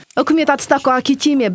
үкімет отставкаға кете ме